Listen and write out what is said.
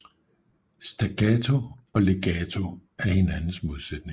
Staccato og legato er hinandens modsætninger